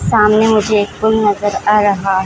सामने मुझे एक पुल नजर आ रहा --